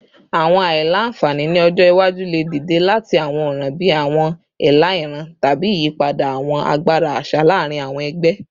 Awọn aila-nfani ni ọjọ iwaju le dide lati awọn ọran bii awọn ela iran tabi iyipada awọn agbara aṣa laarin awọn ẹgbẹ